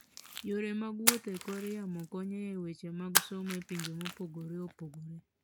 Yore mag wuoth e kor yamo konyo e weche mag somo e pinje mopogore opogore.